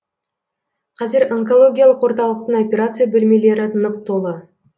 қазір онкологиялық орталықтың операция бөлмелері нық толы